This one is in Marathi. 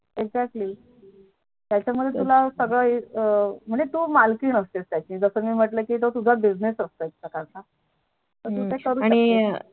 Exactly त्याच्या मध्ये तू ला सग्गळं म्हणजे तू मालकीण असते त्याची जस मी म्हटलं कि तो तुझा Business असतो एक प्रकारचा हम्म